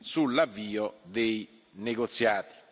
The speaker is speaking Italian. sull'avvio dei negoziati.